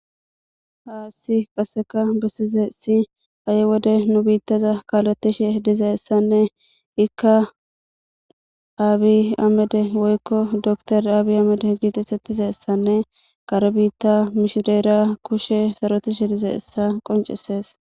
haaassi qasseka bessize si a7e wode nu biittaza kaalatishe diza essanne ikka aabi amede woykko door aabi amede giitisettiza essanne qare biitta mishireera kushe sarotishe diza essa qoncisees